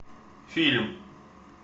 фильм